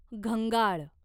घंगाळ